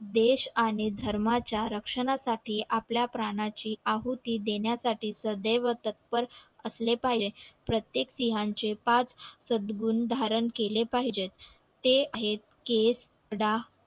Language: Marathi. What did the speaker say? देश आणि धर्मा च्या रक्षणासाठी आपल्या प्राणा ची आहुती देण्यात साठी सद्य्व तत्पर असले पाहिजे प्रत्येक सिहां चे पाच धारण केले पाहिजेत ते एक डा